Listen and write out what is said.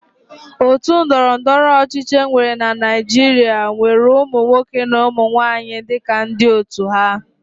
Otu ndọrọndọrọ ọchịchị enwere na Naịjirịa nwere ụmụnwoke na ụmụnwanyị dịka ndị otu ha.